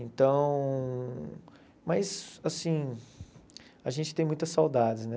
Então, mas assim, a gente tem muitas saudades, né?